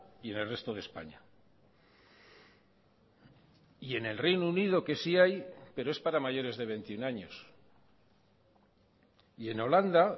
y en el resto de españa y en el reino unido que sí hay pero es para mayores de veintiuno años y en holanda